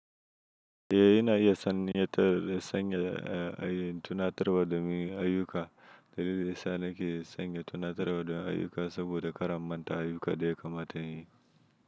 Eh ina iya sanin yadda sanya ayi tunatarwa da meye ayyuka. Dalili da ya sa nake sanya tunatarwa dan ayyuka saboda kar a manta ayuka da ya kamata in yi.